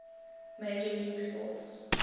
major league sports